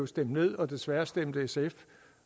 stemt ned og desværre stemte sf